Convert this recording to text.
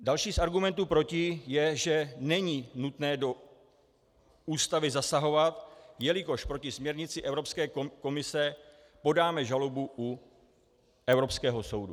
Další z argumentů proti je, že není nutné do Ústavy zasahovat, jelikož proti směrnici Evropské komise podáme žalobu u Evropského soudu.